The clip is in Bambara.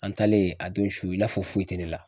An talen a don su i n'a fɔ foyi te ne la.